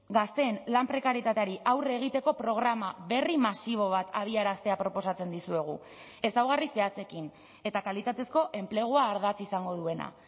gazteen lan prekarietateari aurre egiteko programa berri masibo bat abiaraztea proposatzen dizuegu ezaugarri zehatzekin eta kalitatezko enplegua ardatz izango duena